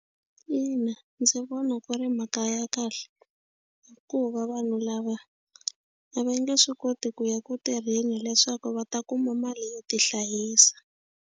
Ina, ndzi vona ku ri mhaka ya kahle hikuva vanhu lava a va nge swi koti ku ya ku tirheni leswaku va ta kuma mali yo tihlayisa.